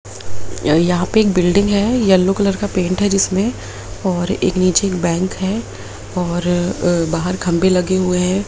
य यहाँ पे एक बिल्डिंग है येलो कलर का पेंट है जिसमें और एक नीचे एक बैंक है और अ बाहर खंभे लगे हुए है।